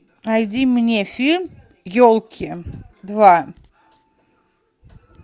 найди мне фильм елки два